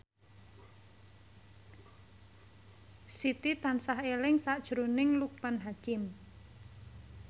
Siti tansah eling sakjroning Loekman Hakim